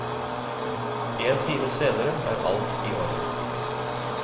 En time senere er alt i orden.